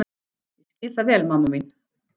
Ég skil það vel mamma mín.